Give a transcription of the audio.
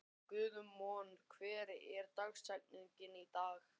Guðmon, hver er dagsetningin í dag?